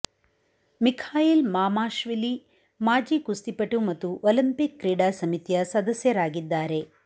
Mikhail Mamashvili ಮಾಜಿ ಕುಸ್ತಿಪಟು ಮತ್ತು ಒಲಿಂಪಿಕ್ ಕ್ರೀಡಾ ಸಮಿತಿಯ ಸದಸ್ಯರಾಗಿದ್ದಾರೆ